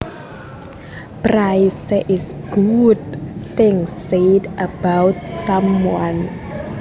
Praise is good things said about someone